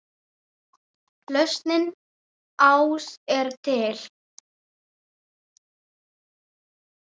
Lausnin ás er til.